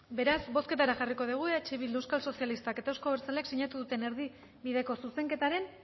beraz bozketara jarriko dugu eh bildu euskal sozialistak eta euzko abertzaleak sinatu duten erdibideko zuzenketaren